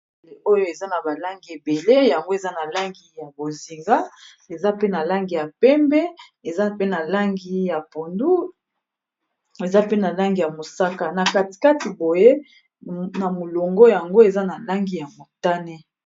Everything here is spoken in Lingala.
Oyo eza na ba langi ebele yango eza na langi ya bozinga eza pe na langi ya pembe eza pe na langi ya pondu eza pe na langi ya mosaka na katikati boye na molongo yango eza na langi ya motane.